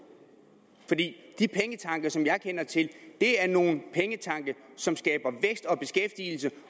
fordi de pengetanke som jeg kender til er nogle pengetanke som skaber vækst og beskæftigelse